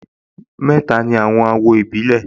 Mẹ́ta ni àwọn àwọ̀ ìpìlẹ̀